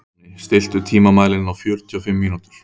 Vopni, stilltu tímamælinn á fjörutíu og fimm mínútur.